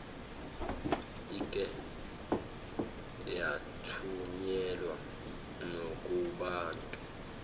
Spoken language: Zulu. ike yathunyelwa nakubantu